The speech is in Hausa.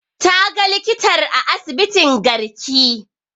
Ta ga likitar a asibitin garki